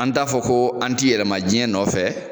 An t'a fɔ ko an tɛ yɛlɛma diɲɛ nɔfɛ